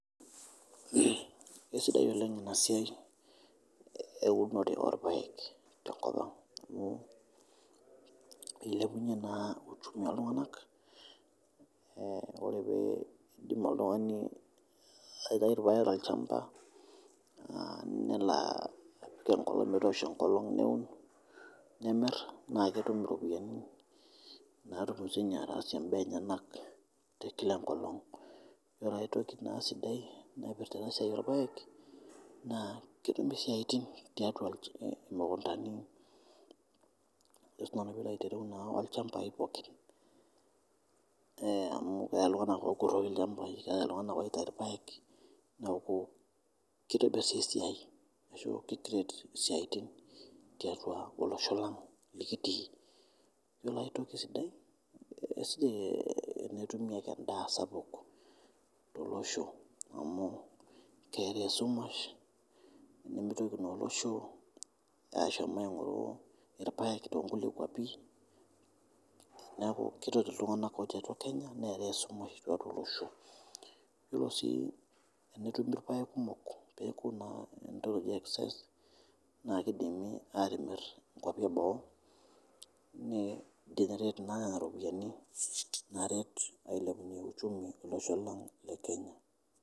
Esidai oleng ena siai e unore olpaek te nkopang' amu eilepunye naa uchumi oltunganak ,ore pee idim oltungani aitayu olpaek te lchamba naa nelo apik enkolong' neun nimir naa ketum ropiani naatum si ninye ataasie imbaa enyenak te kila nkolong, ore aitoki naa sidai naipirita esiai olpaek naa ketumi siatin teatua lukuntani ajo si nanu pilo aitereu naa olchambai pookin mu keatai ltunganak ookuroki lchambai keatai ltunganak oitai lpaek neaku keitibir si siai ashu kei create siaitin teatua olosho lang' likitii, ore aitoki sidai netumi ake endaa sapuk te loshoo amu keatai shumash nemeitoki naa olosho ashomo aing'oru lpaek to nkule kwapi neaku keretu ltunganak otii atua Kenya neatai shumash teatua olosho, ore sii tenetumi lpaek kumok peaku naa ntoki naji excess naa keidimi atimir nkopi eboo naankinyiret naaret ailepunye uchumi elosho lang' le Kenya.